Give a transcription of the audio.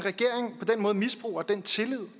måde misbruger den tillid